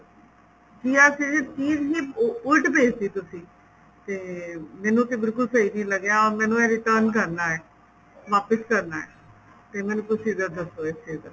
ਜਾਂ ਫ਼ਿਰ ਚੀਜ ਹੀ ਉਲਟ ਭੇਜ ਤੀ ਤੁਸੀਂ ਤੇ ਮੈਨੂੰ ਤੇ ਬਿਲਕੁਲ ਸਹੀ ਨਹੀਂ ਲੱਗਿਆ ਮੈਨੂੰ ਇਹ return ਕਰਨਾ ਏ ਵਾਪਿਸ ਕਰਨਾ ਤੇ ਮੈਨੂੰ procedure ਦੱਸੋ ਇਸ ਚੀਜ ਦਾ